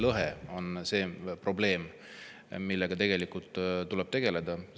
Lõhe on probleem, millega tegelikult tuleb tegeleda.